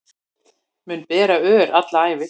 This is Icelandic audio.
Mun bera ör alla ævi